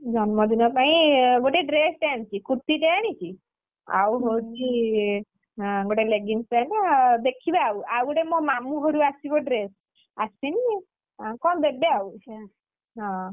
ଜନ୍ମଦିନ ପାଇଁ ଗୋଟେ dress ଟେ ଆଣିଛି ଟେ ଆଣିଛି। ଆଉ ହଉଛି ଅଁ ଗୋଟେ leggings pant ଦେଖିବାଆଉ, ଆଉଗୋଟେ ମୋ ମାମୁଁ ଘରୁ ଆସିବ dress ଆସିନି ଅଁ କଣ ଦେବେ ଆଉ। ହଁ